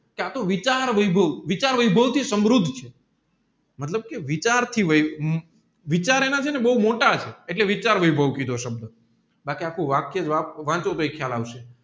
ત્યાં તો વિચાર વૈભવ વિચાર વૈભવ થી સમૃદ્ધ મતલબ કે વિચાર થી વૈભવ વિચાર એના બેઉ મોટા છે એટલે વિચાર વૈભવ કીધો સબધ ને આખે આખું વાક્ય વાંચો તાયી ખ્યાલ આવશે